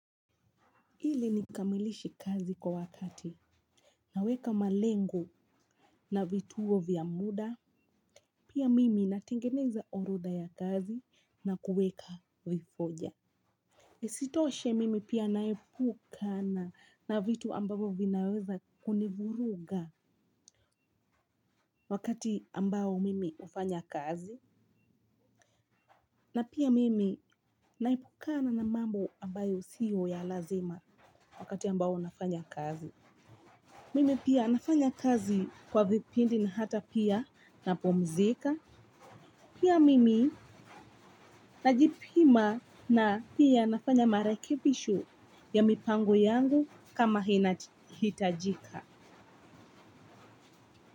Ili nikamilishe kazi kwa wakati naweka malengo na vituo vya muda, pia mimi natengeneza orodha ya kazi na kuweka vifoja. Isitoshe mimi pia naepukana na vitu ambavo vinaweza kunivuruga wakati ambao mimi hufanya kazi. Na pia mimi naepukana na mambo ambayo sio ya lazima wakati ambao nafanya kazi. Mimi pia nafanya kazi kwa vipindi na hata pia napumzika. Pia mimi najipima na pia nafanya marekebisho ya mipango yangu kama inahitajika.